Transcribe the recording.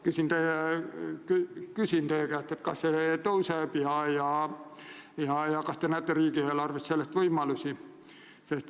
Küsin teie käest, kas see kasvab, kas te näete riigieelarves selleks võimalusi.